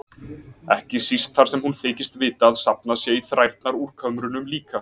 Ekki síst þar sem hún þykist vita að safnað sé í þrærnar úr kömrunum líka.